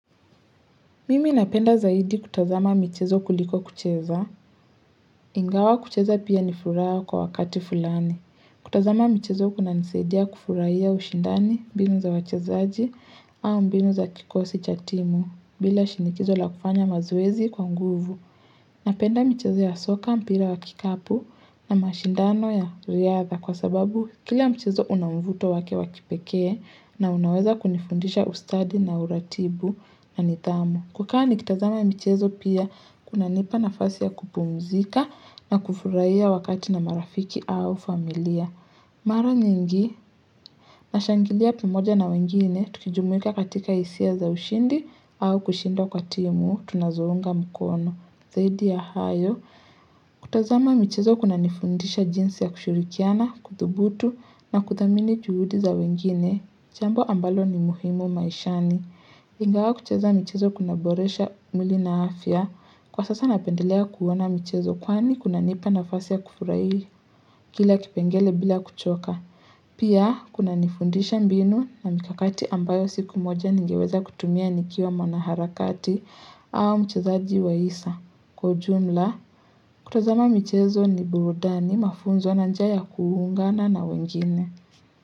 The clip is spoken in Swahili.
Mimi napenda zaidi kutazama michezo kuliko kucheza. Ingawa kucheza pia nifuraha kwa wakati fulani. Kutazama michezo kunanisadia kufurahia ushindani mbinu za wachezaji au mbinu za kikosi cha timu bila shinikizo la kufanya mazoezi kwa nguvu. Napenda michezo ya soka mpira wakikapu na mashindano ya riadha kwa sababu kila mchezo unamvuto wake wakipekee na unaweza kunifundisha ustadi na uratibu na nidhamu. Kukaa nikitazama michezo pia kuna nipa nafasi ya kupumzika na kufurahia wakati na marafiki au familia. Mara nyingi, nashangilia pamoja na wengine, tukijumuika katika hisia za ushindi au kushinda kwa timu, tunazo unga mkono. Zaidi ya hayo, kutazama mchezo kuna nifundisha jinsi ya kushurikiana, kuthubutu na kuthamini juhudi za wengine. Jambo ambalo ni muhimu maishani. Ingawa kucheza michezo kuna boresha mwili na afya. Kwa sasa napendelea kuona michezo kwani kuna nipa nafasi ya kufurahi kila kipengele bila kuchoka. Pia kuna nifundisha mbinu na mikakati ambayo siku moja ningeweza kutumia nikiwa mwana harakati au mchezaji wa isa. Kwa ujumla, kutazama michezo ni burudani mafunzo na njia kuungana na wengine.